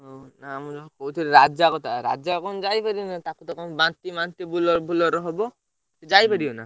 ହଁ ନା ମୁଁ ଯୋଉ କହୁଥିଲି ରାଜା କଥା, ରାଜାକଣ ଯାଇପାରିବ ନା? ତାକୁ ତ କଣ ବାନ୍ତି ମାନ୍ତି Bolero ଫୋଲେରୋ ରେ ହବ? ସିଏ ଯାଇପାରିବ ନା।